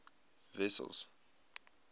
wessels